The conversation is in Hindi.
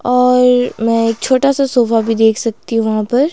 और मैं एक छोटा सा सोफा भी देख सकती हूं वहां पर।